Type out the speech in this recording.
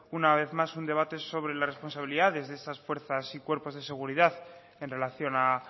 una vez más un debate sobre la responsabilidad desde esas fuerzas y cuerpos de seguridad en relación a